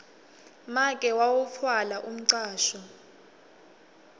make wawutfwala umcwasho